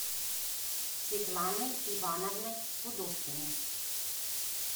светланой ивановной пудовкиной